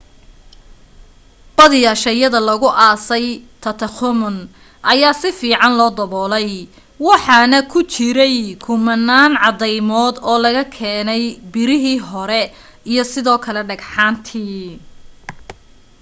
badiyaa shayyada lagu aasay tutankhamun ayaa si fiican loo dabolay waxaana ku jiray kumanaan cadaymod oo laga keenay birihii hore iyo sidoo kale dhagxaantii